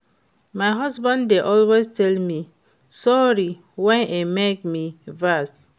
My husband dey always tell me sorry wen e make me vex